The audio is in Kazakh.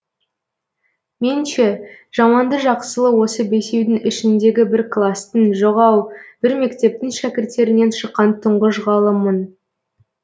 мен ше жаманды жақсылы осы бесеудің ішіндегі бір кластың жоқ ау бір мектептің шәкірттерінен шыққан тұңғыш ғалыммын